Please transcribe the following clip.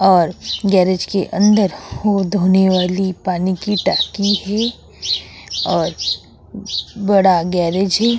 और गैरेज के अंदर हो धोने वाली पानी की टंकी है और ब बड़ा गैरेज है।